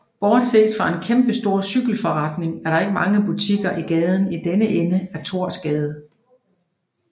Bortset fra en kæmpestor cykelforretning er der ikke mange butikker i gaden i denne ende af Thorsgade